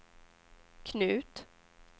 Knut